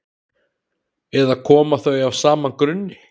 eða koma þau af sama grunni